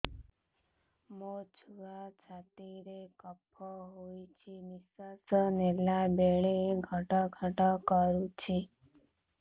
ମୋ ଛୁଆ ଛାତି ରେ କଫ ହୋଇଛି ନିଶ୍ୱାସ ନେଲା ବେଳେ ଘଡ ଘଡ କରୁଛି